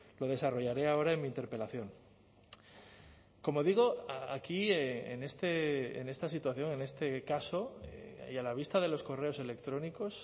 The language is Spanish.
lo desarrollaré ahora en mi interpelación como digo aquí en esta situación en este caso y a la vista de los correos electrónicos